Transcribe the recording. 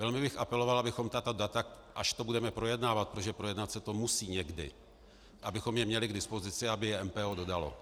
Velmi bych apeloval, abychom tato data, až to budeme projednávat, protože projednat se to musí někdy, abychom je měli k dispozici, aby je MPO dodalo.